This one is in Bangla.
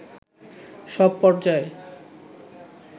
সব পর্যায়ে